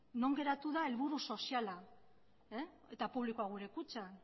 non geratu da helburu soziala eta publikoa gure kutxa